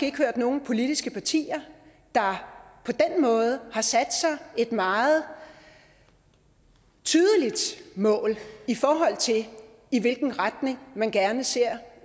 ikke hørt nogen politiske partier der på den måde har sat sig et meget tydeligt mål i forhold tili hvilken retning man gerne ser